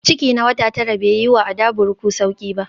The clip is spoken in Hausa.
Ciki na wata tara bai yi wa Adavuruku sauƙi ba